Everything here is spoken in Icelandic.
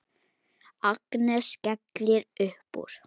Agnes skellir upp úr.